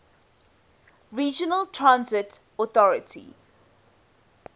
regional transit authority